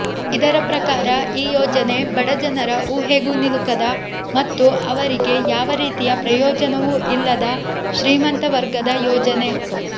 ಇದರ ಪ್ರಕಾರ ಈ ಯೋಜನೆ ಬಡಜನರ ಊಹೆಗೂ ನಿಲುಕದ ಮತ್ತು ಅವರಿಗೆ ಯಾವ ರೀತಿಯ ಪ್ರಯೋಜನವೂ ಇಲ್ಲದ ಶ್ರೀಮಂತವರ್ಗದ ಯೋಜನೆ